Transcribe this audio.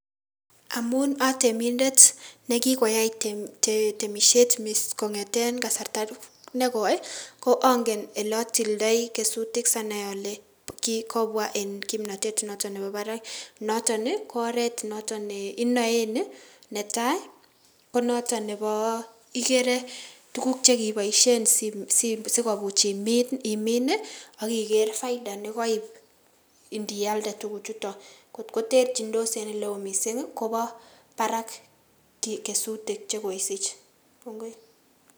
Amun otemindet nekikoyai temishet kong'eten kasarta nekoi ong'en olotildoi kesutik sianai olee kikobwa en kimnotet noton nebo barak, noton ko oreet noton neinoen, netaa konoton nebo ikeree tukuk chekiiboishen sikobiit imin okiker faida nekabiit indialde tukuchuton kot ko terchindos en elewon mising kobo barak kesutik chekoisich.